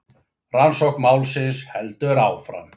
Rannsókn málsins heldur áfram